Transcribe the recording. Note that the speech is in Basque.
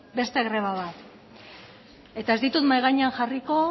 beste greba bat eta ez ditu mahai gainean jarriko